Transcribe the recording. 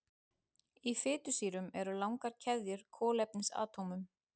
Í fitusýrunum eru langar keðjur kolefnisatómum.